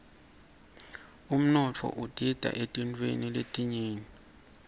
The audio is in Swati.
umnotfo udita eetintfweni letinyenti